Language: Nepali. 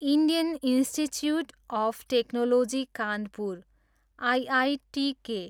Indian institute of technology Kanpur, IITK